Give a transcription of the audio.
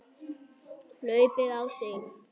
hlaupið á sig?